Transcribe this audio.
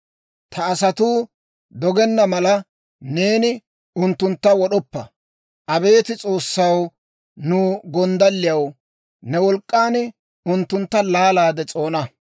Ta asatuu doggenna mala, neeni unttuntta wod'oppa. Abeet S'oossaw, nu gonddalliyaw, ne wolk'k'an unttuntta laalaade s'oona.